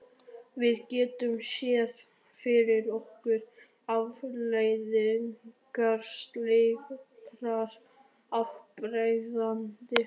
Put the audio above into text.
Við getum séð fyrir okkur afleiðingar slíkrar afbrýðisemi.